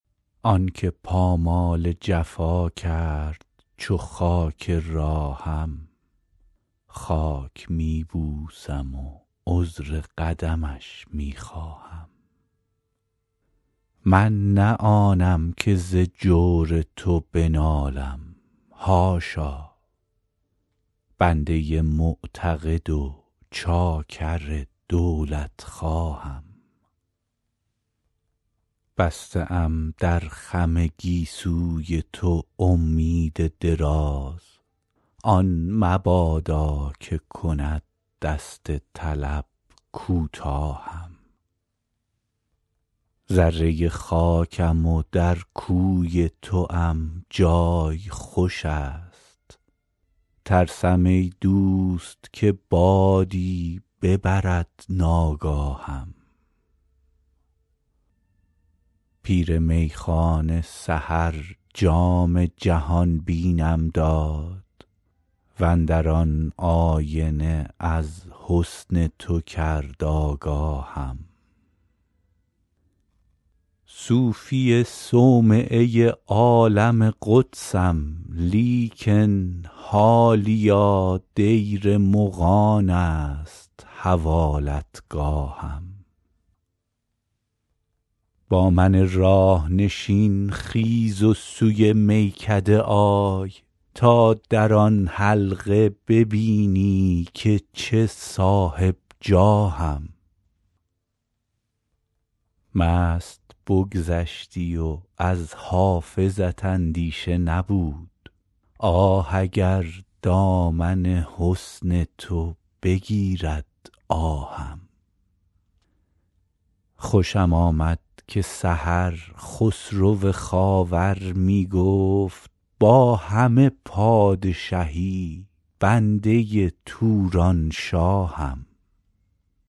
آن که پامال جفا کرد چو خاک راهم خاک می بوسم و عذر قدمش می خواهم من نه آنم که ز جور تو بنالم حاشا بنده معتقد و چاکر دولتخواهم بسته ام در خم گیسوی تو امید دراز آن مبادا که کند دست طلب کوتاهم ذره خاکم و در کوی توام جای خوش است ترسم ای دوست که بادی ببرد ناگاهم پیر میخانه سحر جام جهان بینم داد و اندر آن آینه از حسن تو کرد آگاهم صوفی صومعه عالم قدسم لیکن حالیا دیر مغان است حوالتگاهم با من راه نشین خیز و سوی میکده آی تا در آن حلقه ببینی که چه صاحب جاهم مست بگذشتی و از حافظت اندیشه نبود آه اگر دامن حسن تو بگیرد آهم خوشم آمد که سحر خسرو خاور می گفت با همه پادشهی بنده تورانشاهم